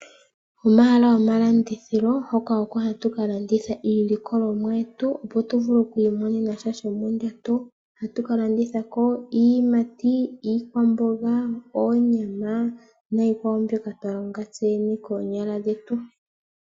Omahala gomalandithilo hoka oko hatu kalanditha iilikolomwa yetu opo tuvule oku imonenasha shomondjato Ohatu kalandithako iiyimati ,iikwamboga, oonyama niikwawo mbyoka twalonga tseyene konyala dhetu.